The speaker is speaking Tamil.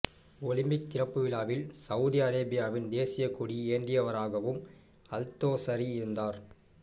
ஒலிம்பிக் திறப்பு விழாவில் சவூதி அரேபியாவின் தேசிய கொடி ஏந்தியவராகவும் அல்தோசரி இருந்தார்